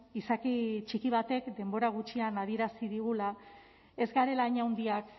izaki txiki batek denbora gutxian adierazi digula ez garela hain handiak